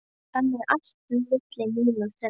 Þannig var allt milli mín og þeirra.